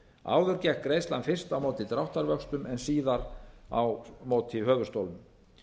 áður gekk greiðslan fyrst á móti dráttarvöxtum en síðar á móti höfuðstólnum